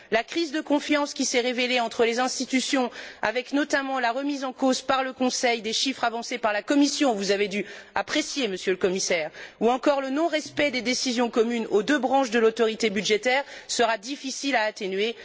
La crise de confiance, qui s'est révélée entre les institutions avec, notamment, la remise en cause, par le Conseil, des chiffres avancés par la Commission ce que vous avez dû apprécier, Monsieur le Commissaire ou encore le non respect des décisions communes aux deux branches de l'autorité budgétaire, sera difficile à atténuer.